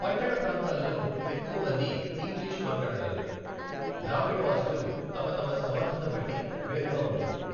పట్టణ ప్రాంతాలలో ఎక్కువ మంది ఇంగ్లీషు మాట్లాడగలరు, గ్రామీణ వాసులు తమ తమ సమర్థతబట్టి వేరుగా ఉంటుంది.